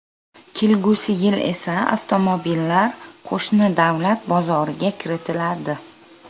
Kelgusi yil esa avtomobillar qo‘shni davlat bozoriga kiritiladi.